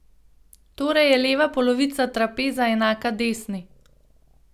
Torej je leva polovica trapeza enaka desni.